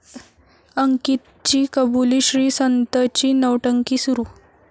अंकितची कबुली, श्रीसंतची 'नौटंकी' सुरू